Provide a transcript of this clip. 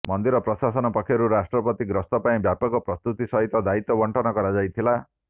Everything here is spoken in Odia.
ମନ୍ଦିର ପ୍ରଶାସନ ପକ୍ଷରୁ ରାଷ୍ଟ୍ରପତିଗସ୍ତ ପାଇଁ ବ୍ୟାପକ ପ୍ରସ୍ତୁତି ସହିତ ଦାୟିତ୍ବ ବଣ୍ଟନ କରାଯାଇ ଥିଲା